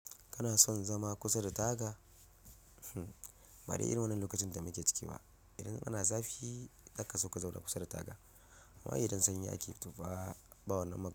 Kana son zama kusa da taga? Bade irin wannan lokacin da muke ciki ba. Idan ana zafi, zaka zo ka zauna kusa da taga. Ai idan sanyi ake tofa ba wannan magana?